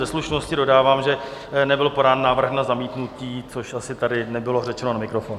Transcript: Ze slušnosti dodávám, že nebyl podán návrh na zamítnutí, což asi tady nebylo řečeno na mikrofon.